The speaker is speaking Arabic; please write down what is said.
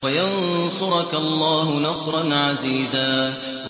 وَيَنصُرَكَ اللَّهُ نَصْرًا عَزِيزًا